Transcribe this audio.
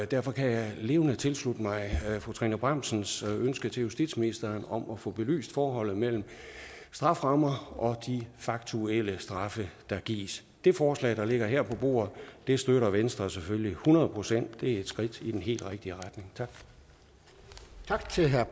derfor kan jeg levende tilslutte mig fru trine bramsens ønske til justitsministeren om at få belyst forholdet mellem strafferammer og de faktuelle straffe der gives det forslag der ligger her på bordet støtter venstre selvfølgelig hundrede procent det er et skridt i den helt rigtige retning tak